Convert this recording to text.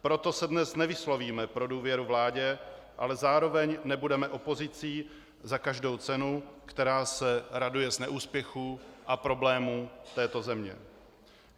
Proto se dnes nevyslovíme pro důvěru vládě, ale zároveň nebudeme opozicí za každou cenu, která se raduje z neúspěchů a problémů této země.